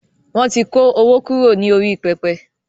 Wọn tí kó owó kúrò ní orí pẹpẹ